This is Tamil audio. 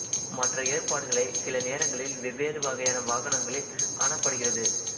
மற்ற ஏற்பாடுகளை சில நேரங்களில் வெவ்வேறு வகையான வாகனங்களில் காணப்படுகிறது